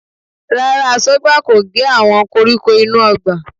Rárá, Aṣọ́gbà kò gé àwọn koríko inú ọgbà